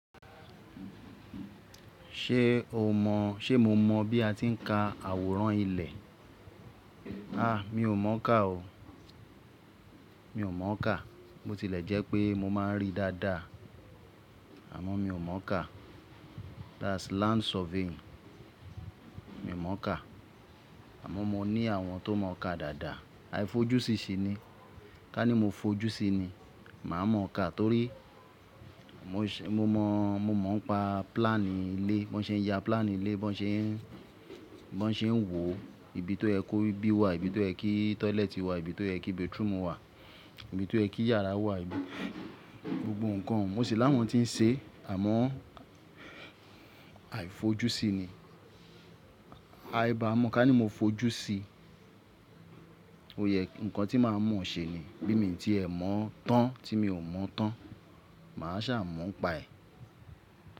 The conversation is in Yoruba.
Ṣé o mọ̀, ṣe mo mọ̀ bí a ti ń ka àwòrán ilẹ̀? A, mi ò mọ̀ ka o. Mi ò mọ̀ ka. Bo tilẹ̀ jẹ́ pé mo máa ń rí dáadáa, àmọ́ mi ò mọ̀ ka. That's land surveying. Mi ò mọ̀ ka, àmọ́ mo ní àwọn tó mọ̀ ka dáadáa. Aifojúsi ṣi ni. Ká ní mo fojú si ni, màá mọ̀ ka torí mo mọ̀, mo mọ̀ ń pa plan ilé, bó ṣe ń ya plan ilé, bó ṣe ń, bó ṣe ń wò ibi tó ye kó bí wà, ibi tó ẹ kí toilet wà, ibi tó ẹ kí bedroom wà, ibi tó ẹ kí yàrá wà, gbogbo ǹkan. Mo sì láwọn tí ń ṣe, àmọ́ aifojúsi ni. Aiba mọ́ ká ní mo fojú si, ó yẹ ǹkan tí màá mọ̀ ṣe ni. Bí i mi tí ẹ mọ̀ tán tí mi ò mọ̀ tán, màá sà mọ̀ ń paẹ̀.